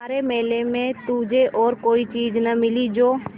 सारे मेले में तुझे और कोई चीज़ न मिली जो